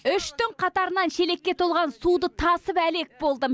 үш түн қатарынан шелекке толған суды тасып әлек болдым